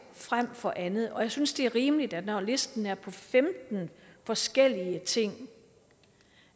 frem for andet og jeg synes det er rimeligt når listen er på femten forskellige ting